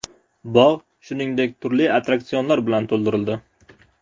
Bog‘ shuningdek, turli attraksionlar bilan to‘ldirildi.